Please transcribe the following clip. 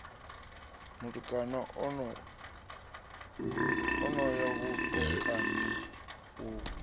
mutukana ano ya vhutukani u